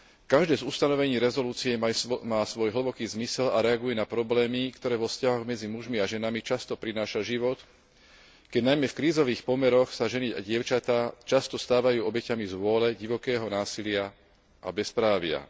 Každé z ustanovení rezolúcie má svoj hlboký zmysel a reaguje na problémy, ktoré vo vzťahoch medzi mužmi a ženami často prináša život, keď najmä v krízových pomeroch sa ženy a dievčatá často stávajú obeťami zvôle, divokého násilia a bezprávia.